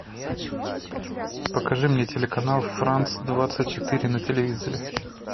покажи мне телеканал франц двадцать четыре на телевизоре